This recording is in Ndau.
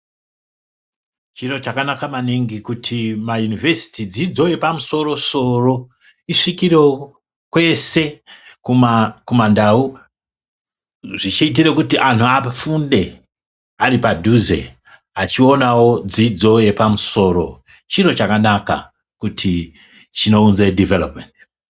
Chiro chakanaka maningi kuti mayunivhediti, dzidzo yepamusoro-soro isvikirewo kwese kumandau. Zvichiitire kuti anhu afunde ari padhuze achionawo dzidzo yepamusoro. Chiro chakanaka kuti chinounze dhivhelopumendi.